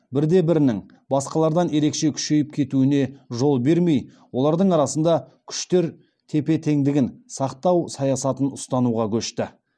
бірде бірінің басқалардан ерекше күшейіп кетуіне жол бермей олардың арасында күштер тепе теңдігін сақтау саясатын ұстануға көшті